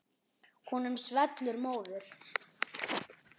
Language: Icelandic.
Honum svellur móður.